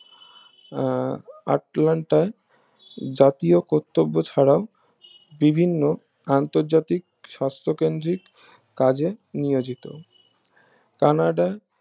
আহ জাতীয় কর্তব্য ছাড়াও বিভিন্ন আন্তর্জাতিক সাস্থ কেন্দ্রিক কাজে নিয়োজিত কানাডা